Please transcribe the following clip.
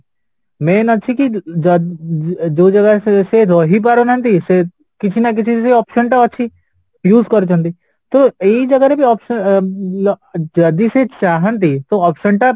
main ଅଛିକି ଯୋଉଜାଗରେ ସେ ରହିପାରୁନାହାନ୍ତି ସେ କିଛି କିଛି ସେ option ଅଛି use କରିଛନ୍ତି ତ ଏଇ ଜାଗାରେ ବି option ଯଦି ସେ ଚାହାନ୍ତି ତ option ଟା